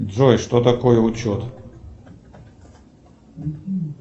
джой что такое учет